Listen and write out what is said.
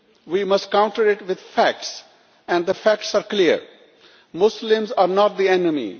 We must counter it with facts, and the facts are clear Muslims are not the enemy.